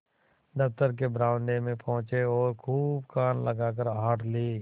दफ्तर के बरामदे में पहुँचे और खूब कान लगाकर आहट ली